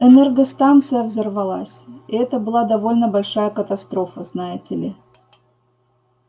энергостанция взорвалась и это была довольно большая катастрофа знаете ли